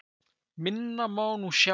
Minna má nú sjá!